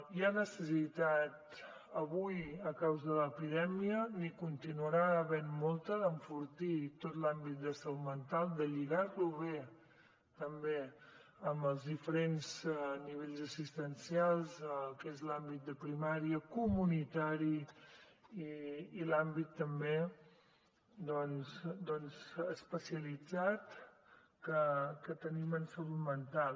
hi ha necessitat avui a causa de l’epidèmia n’hi continuarà havent molta d’enfortir tot l’àmbit de salut mental de lligar lo o bé també amb els diferents nivells assistencials el què és l’àmbit de primària comunitari i l’àmbit també especialitzat que tenim en salut mental